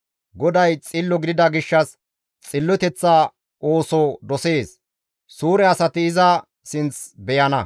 GODAY xillo gidida gishshas xilloteththa ooso dosees. Suure asati iza sinth beyana.